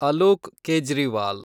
Alok Kejriwal